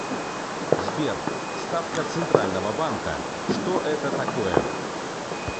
сбер ставка центрального банка что это такое